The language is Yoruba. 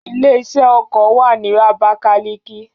Ilé-iṣẹ́ ọkọ̀ wà ní Abakaliki.